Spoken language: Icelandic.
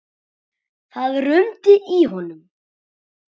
Það rumdi í honum.